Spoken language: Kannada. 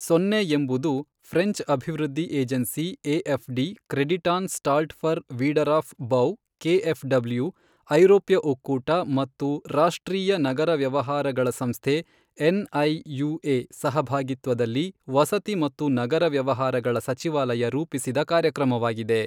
ಸೋನ್ನೆ ಎಂಬುದು ಫ್ರೆಂಚ್ ಅಭಿವೃದ್ಧಿ agency A F D, Kreditanstalt für Wiederaufbau K F W, ಐರೋಪ್ಯ ಒಕ್ಕೂಟ ಮತ್ತು ರಾಷ್ಟ್ರೀಯ ನಗರ ವ್ಯವಹಾರಗಳ ಸಂಸ್ಥೆ ಎನ್ಐಯುಎ ಸಹಭಾಗಿತ್ವದಲ್ಲಿ ವಸತಿ ಮತ್ತು ನಗರ ವ್ಯವಹಾರಗಳ ಸಚಿವಾಲಯ ರೂಪಿಸಿದ ಕಾರ್ಯಕ್ರಮವಾಗಿದೆ.